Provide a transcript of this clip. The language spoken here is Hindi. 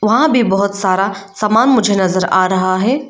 वहां भी बहोत सारा सामान मुझे नजर आ रहा है।